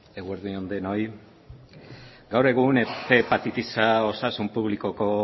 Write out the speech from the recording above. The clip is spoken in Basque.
eguerdi on denoi gaur egun ehun hepatitisa osasun publikoko